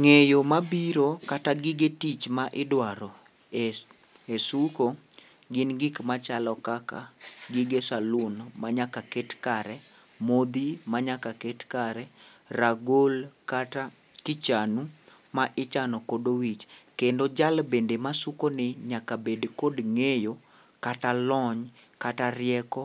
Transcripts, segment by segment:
Ng'eyo mabiro kata gige tich ma idwaro e suko gin gik machalo kaka gige salun manyaka ket kare, modhi manyaka ket kare, ragol kata kichanu ma ichano godo wich. Kendo jal bende masukoni nyaka bed kod ng'eyo kata lony kata rieko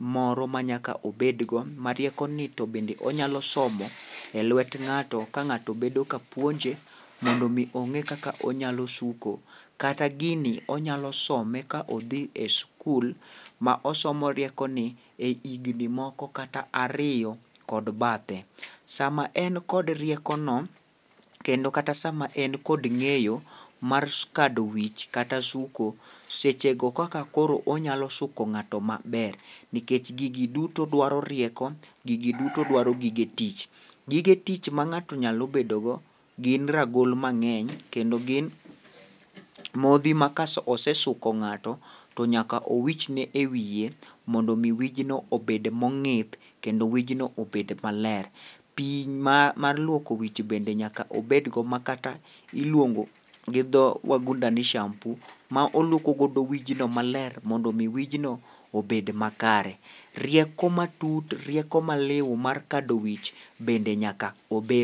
moro manyaka obed go, ma riekoni to bende onyalo somo e lwet ng'ato ka ng'ato bedo kapuonje mondo omi ong'e kaka onyalo suko, kata gini onyalo some ka odhi e skul ma osomo riekoni e higni moko kata ariyo kod bathe. Sama en kod riekono kendo kata sama en kod ng'eyo mar kado wich kata suko, sechego kaka koro onyalo suko ng'ato maber nikec gigi duto dwaro rieko, gigi duto dwaro gige tich. Gige tich ma ng'ato nyalo bedogo gin ragol mang'eny kendo gin modhi ma kosesuko ng'ato to nyaka owichen e wiye mondo omi wijno obed mong'ith, kendo wijno obed maler. Pi mar luoko wich bende nyaka obed go ma kata iluongo gi dho wangunda ni shampoo ma olwoko godo wijno maler, mondo omi wijno obed makare. Rieko matut, rieko maliw mar kado wich bende nyaka obedgo.